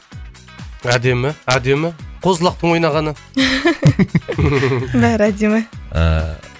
әдемі әдемі қозы лақтың ойнағаны бәрі әдемі ыыы